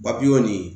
nin